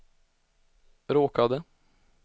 råkade